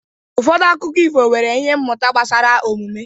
Ụfọdụ akụkọ ifo nwere ihe mmụta gbasara omume.